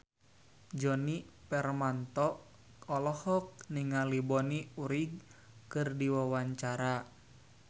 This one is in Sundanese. Djoni Permato olohok ningali Bonnie Wright keur diwawancara